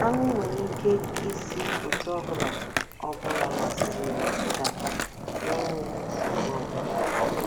AṄỤ nwere ike isi otú ọ bụla ọ bụla masịrị ya fedata n’enweghị nsogbu ọ bụla.